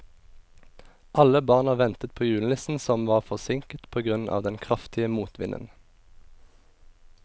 Alle barna ventet på julenissen, som var forsinket på grunn av den kraftige motvinden.